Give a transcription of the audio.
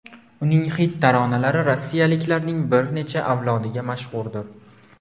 Uning xit taronalari rossiyaliklarning bir necha avlodiga mashhurdir.